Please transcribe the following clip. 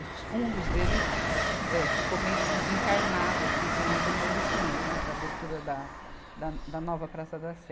Os fundos dele, eh, ficou meio des, desencarnado assim com as demolições, né, para a abertura da, da no, da nova Praça da Sé.